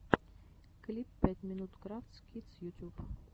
клип пять минут крафтс кидс ютуб